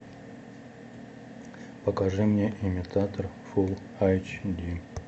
покажи мне имитатор фул айч ди